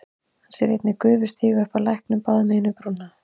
Hann sér einnig gufu stíga upp af læknum báðum megin við brúna.